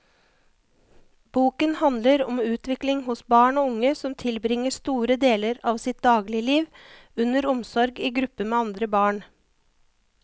Boken handler om utvikling hos barn og unge som tilbringer store deler av sitt dagligliv under omsorg i gruppe med andre barn.